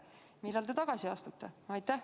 Millal te tagasi astute?